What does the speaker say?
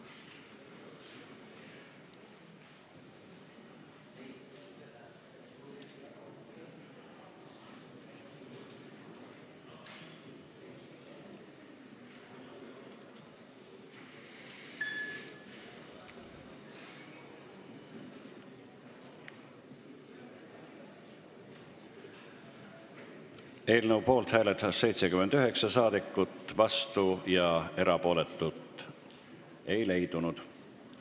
Hääletustulemused Eelnõu poolt hääletas 79 saadikut, vastuolijaid ega erapooletuid ei leidunud.